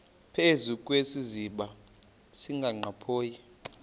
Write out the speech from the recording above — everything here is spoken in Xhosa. phezu kwesiziba sikanophoyi